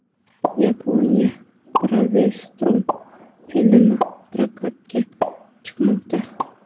Yaponiyada Bravestorm filmi prokatga chiqmoqda.